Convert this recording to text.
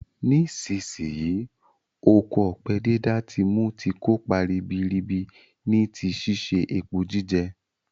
Nisínsinyí, oko ọ̀pẹ dídá ti mu ti kópa ribiribi ni ti si se epo jíjẹ